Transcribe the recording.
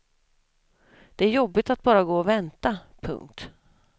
Det är jobbigt att bara gå och vänta. punkt